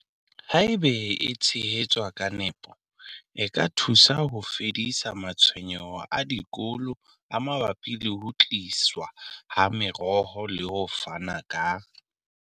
Haeba e tshehetswa ka nepo, e ka thusa ho fedisa matshwenyeho a dikolo a mabapi le ho tliswa ha meroho le ho fana ka.